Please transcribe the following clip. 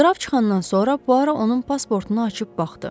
Qraf çıxandan sonra Puaro onun pasportunu açıb baxdı.